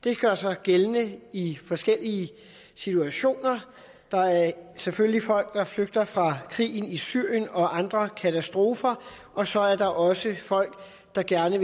det gør sig gældende i forskellige situationer der er selvfølgelig folk der flygter fra krigen i syrien og andre katastrofer og så er der også folk der gerne